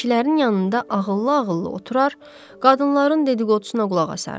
Kişilərin yanında ağıllı-ağıllı oturur, qadınların dediqodusuna qulaq asardım.